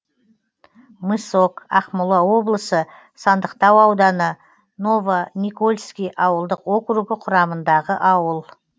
мысок ақмола облысы сандықтау ауданы новоникольский ауылдық округі құрамындағы ауыл